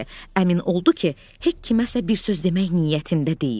Əmin oldu ki, Hek kiməsə bir söz demək niyyətində deyil.